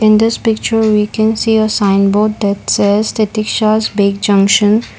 in this picture we can see a sign board that says titikshas bake junction.